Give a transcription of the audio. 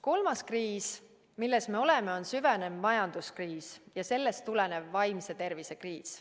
Kolmas kriis, milles me oleme, on süvenev majanduskriis ja sellest tulenev vaimse tervise kriis.